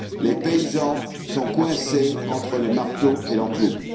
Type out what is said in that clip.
Les paysans sont coincés entre le marteau et l'enclume.